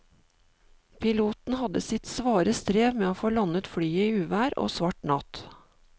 Piloten hadde sitt svare strev med å få landet flyet i uvær og svart natt.